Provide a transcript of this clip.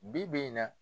Bi bi in na